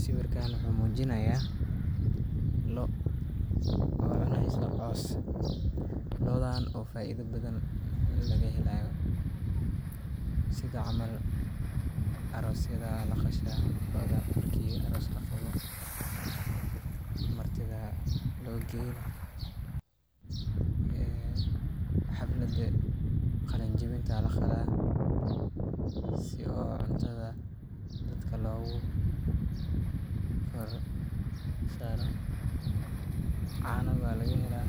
Siwirkan wuxuu mujinaya lo oo cuneyso cos lodhan oo faidho badan laga helayo sitha camal arosyaada aya laqasha lodha marki aros laqalo Martidha lo geyni ee xaflada qalin jiwinta aya laqala si oo cuntadha dadka logu kor saro canaba laga hela